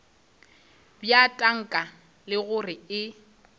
bja tanka le gore e